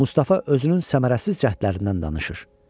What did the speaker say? Mustafa özünün səmərəsiz cəhdlərindən danışır.